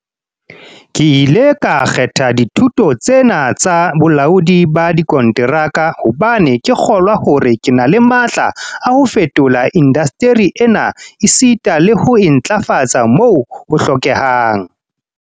"Ke ile ka kgetha dithuto tse na tsa bolaodi ba dikonteraka hobane ke kgolwa hore ke na le matla a ho fetola indasteri ena esita le ho e ntlafatsa moo ho hlokehang."